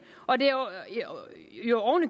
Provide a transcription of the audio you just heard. og det er jo